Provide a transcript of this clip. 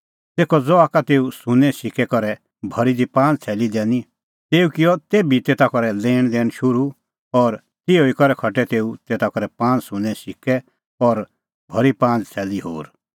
तेखअ ज़हा का तेऊ सुन्नें सिक्कै करै भरी दी पांज़ थैली दैनी तेऊ किअ तेभी तेता करै लैणदैण शुरू और तिहअ करै खटै तेऊ तेता करै पांज़ सुन्नें सिक्कै करै भरी पांज़ थैली होर